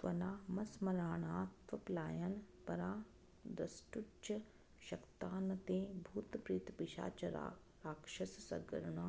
त्वन्नामस्मरणात्पलायनपरा द्रष्टुञ्च शक्ता न ते भूतप्रेतपिशाचराक्षसगणा